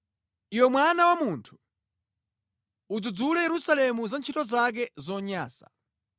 “Iwe mwana wa munthu, udzudzule Yerusalemu za ntchito zake zonyansa.